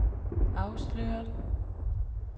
afsløret